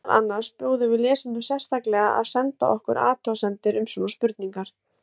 Meðal annars bjóðum við lesendum sérstaklega að senda okkur athugasemdir um svona spurningar.